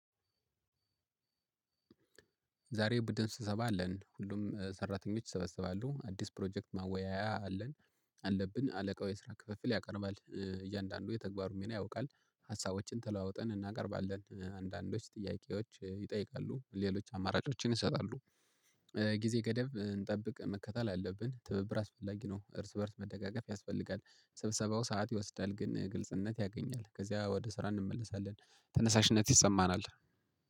ዛሬ ቡድን ስብሰባ አለን ሁሉም ሰራተኞች ይሰበሰባሉ አዲስ ፕሮጀክት ማወያያ አለን። አለብን አለቃው የስራ ክፍፍል ያቀርባል እያንዳንዱ የተግባሩን ሚና ያውቃል። ሀሳቦችን ተለዋውጠን እናቀርባለን አንዳንዶች ጥያቄዎች ይጠይቃሉ ሌሎች አማራጮችን ይሰጣሉ። ጊዜ ገደብ እንጠብቅ መከተል አለብን ትብብር አስፈላጊ ነው እርስ በእርስ መደጋገፍ ያስፈልጋል። ስብሰባው ሰዓት ይወስዳል ግን ግልጽነት ያገኛል ከዚያ ወደ ስራ እንመለሳለን። ተነሳሽነት ይሰማናል